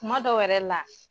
Kuma dɔw yɛrɛ la